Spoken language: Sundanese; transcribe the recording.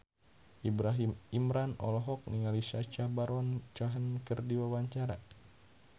Ibrahim Imran olohok ningali Sacha Baron Cohen keur diwawancara